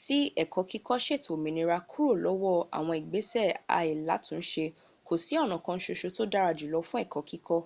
sí ẹ̀kọ́ kíkọ́ sètò òmìnira kúrò lọ́wọ́ àwọn ìgbẹ́sẹ̀ áìlatúnsẹ kò sí ọ̀nà kan sọsọ tò dára jùlo fún ẹ̀kọ́ kíkọ